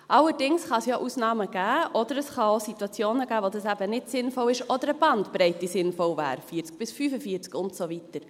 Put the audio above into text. Allerdings kann es ja Ausnahmen geben, oder es kann auch Situationen geben, in denen es eben nicht sinnvoll ist oder eine Bandbreite sinnvoll wäre, 40 bis 45 und so weiter.